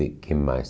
e que mais?